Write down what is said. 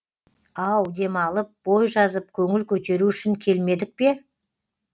ау демалып бой жазып көңіл көтеру үшін келмедік пе